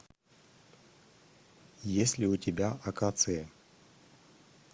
есть ли у тебя акации